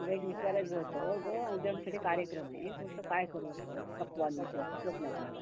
तुला एक विचारायचं होतं गं उद्या आमच्या इकडे एक कार्यक्रम आहे म्हंटलं काय करू मग पकवानाचं